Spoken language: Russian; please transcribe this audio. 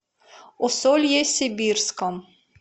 усолье сибирском